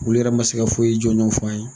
Olu yɛrɛ ma se ka foyi jɔnjɔn f'an ye.